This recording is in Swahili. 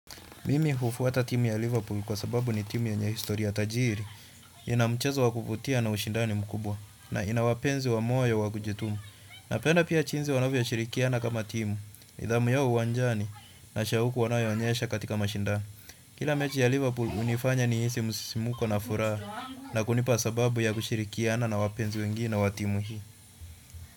Mimi hufuata timu ya Liverpool kwa sababu ni timu yenye historia tajiri, ina mchezo wa kuvutia na ushindani mkubwa, na ina wapenzi wa moyo wa kujituma. Napenda pia jinsi wanvyoshirikiana kama timu, nidhamu yao uwanjani na shauku wanayoonyesha katika mashindano. Kila mechi ya Liverpool hunifanya nihisi msisimuko na furaha na kunipa sababu ya kushirikiana na wapenzi wengi na wa timu hii.